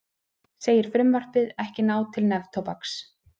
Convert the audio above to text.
Segir frumvarpið ekki ná til neftóbaks